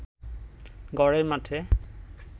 ঘরের মাঠে